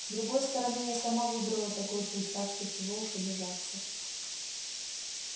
с другой стороны я сама выбрала такой путь так что чего уж обижаться